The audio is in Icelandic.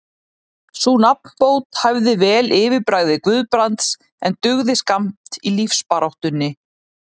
Sú nafnbót hæfði vel yfirbragði Guðbrands, en dugði skammt í lífsbaráttunni.